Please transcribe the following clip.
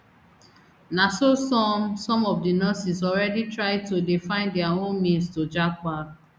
na so some some of di nurses already try to dey find dia own means to japa